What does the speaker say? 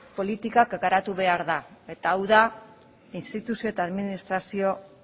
politika garatu behar da eta hau da instituzio eta administrazio